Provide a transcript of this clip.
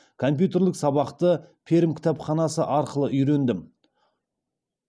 компьютерлік сабақты пермь кітапханасы арқылы үйрендім